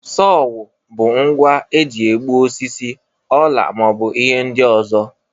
Sowo bụ ngwa eji egbu osisi, ọla ma ọ bụ ihe ndị ọzọ.